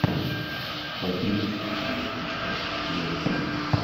в одиннадцать погреб поставь тусклее